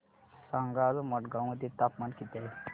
सांगा आज मडगाव मध्ये तापमान किती आहे